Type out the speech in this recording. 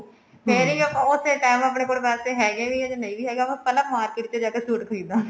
ਫੇਰ ਵੀ ਆਪਾਂ ਉਸੇ time ਆਪਣੇ ਕੋਲ ਪੈਸੇ ਹੈਗੇ ਵੀ ਐ ਜਾ ਨਹੀਂ ਵੀ ਹੈਗੇ ਆਪਾਂ ਪਹਿਲਾਂ market ਚ ਜਾਕੇ suit ਖਰੀਦਾਂਗੇ